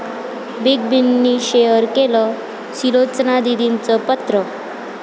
big बींनी share केलं सुलोचना दीदींचं पत्र